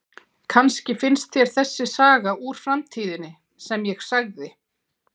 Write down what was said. Kannski finnst þér þessi saga úr framtíðinni sem ég sagði